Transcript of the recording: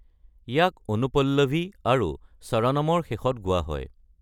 ইয়াক অনুপল্লৱী আৰু চৰণমৰ শেষত গোৱা হয়।